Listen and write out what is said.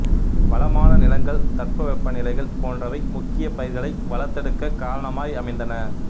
வளமான நிலங்கள் தட்ப வெப்ப நிலைகள் போன்றவை முக்கியப் பயிர்களை வளர்த்தெடுக்கக் காரணமாய் அமைந்தன